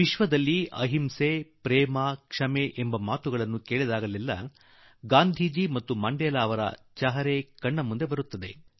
ವಿಶ್ವದಲ್ಲಿ ಅಹಿಂಸೆ ಪ್ರೀತಿ ದ0iÉು ಶಬ್ದಗಳು ಕಿವಿಯ ಮೇಲೆ ಬಿದ್ದಾಗ ಗಾಂಧಿ ಮತ್ತು ಮಂಡೇಲಾರ ಚಿತ್ರ ನಮ್ಮ ಮುಂದೆ ಬಂದು ನಿಲ್ಲುತ್ತದೆ